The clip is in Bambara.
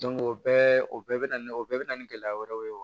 o bɛɛ o bɛɛ bɛ na ni o bɛɛ bɛ na ni gɛlɛya wɛrɛw ye wa